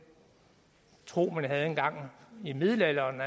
tro man havde en gang i middelalderen